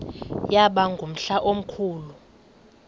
yaba ngumhla omkhulu